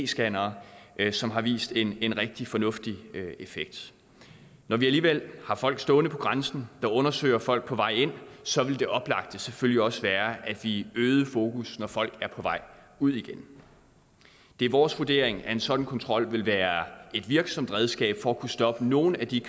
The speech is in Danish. scannere som har vist en en rigtig fornuftig effekt når vi alligevel har folk stående ved grænsen der undersøger folk på vej ind så vil det oplagte selvfølgelig også være at vi øgede fokus når folk er på vej ud det er vores vurdering at en sådan kontrol vil være et virksomt redskab for at kunne stoppe nogle af de